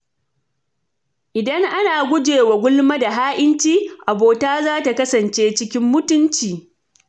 Idan ana guje wa gulma da ha’inci, abota za ta kasance cikin mutunci.